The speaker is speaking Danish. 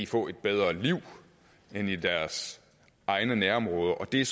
få et bedre liv end i deres egne nærområder det er